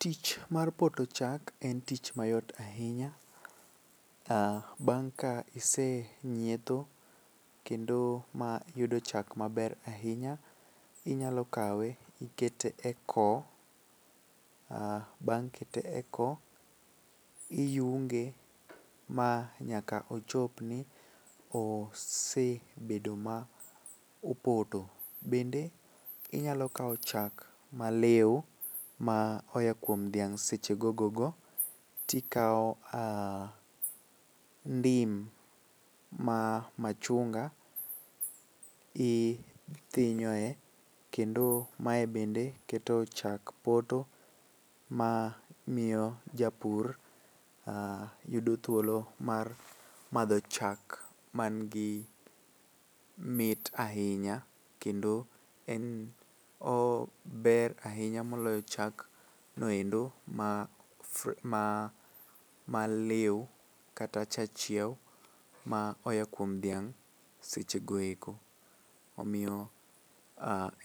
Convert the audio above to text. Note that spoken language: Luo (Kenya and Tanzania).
Tich mar poto chak en tich mayot ahinya, bang' ka isenyiedho kendo ma iyudo chak maber ahinya. Inyalo kawe ikete e koo bang' kete e koo iyunge ma nyaka ochop ni sebedo ma opoto. Bende inyalo kawo chak maliw ma oya kuom dhiang' seche gogogo to ikawo ndim ma machunga ithinyoe kendo mae bende keto chak poto ma miyo ja pur yudo thuolo mar madho chak man gi mit ahinya kendo en ober ainya moloyo chagno endo ma ma maliw kata cha chiewo moa kuom dhiang' sechego eko. Omiyo